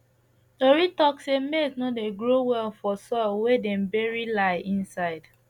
tori talk say maize no dey grow well for soil wey dem bury lie inside